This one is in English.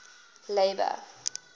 labour